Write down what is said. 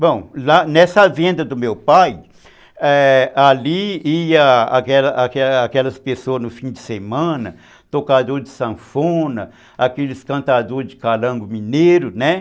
Bom, nessa venda do meu pai, é, ali ia aquelas aquelas pessoas no fim de semana, tocador de sanfona, aqueles cantadores de calango mineiro, né?